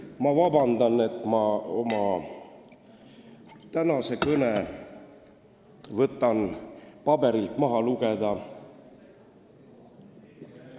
Ma palun vabandust, et ma oma tänase kõne võtan paberilt maha lugeda.